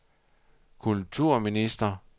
kulturminister